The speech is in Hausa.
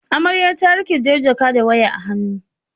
Amarya ta riƙe jar jaka da waya a hannu.